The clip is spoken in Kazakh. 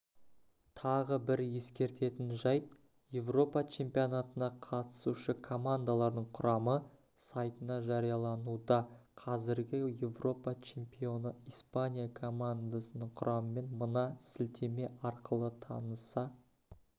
тағы бір ескеретін жайт еуропа чемпионатына қатысушы командалардың құрамы сайтына жариялануда қазіргі еуропа чемпионы испания командасының құрамымен мына сілтеме арқылы таныса